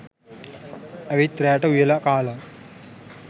ඇවිත් රෑට උයලා කාලා